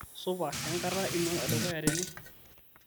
supa kenkata ino edukuya tene